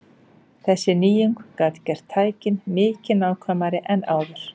Þessi nýjung gat gert tækin mikið nákvæmari en áður.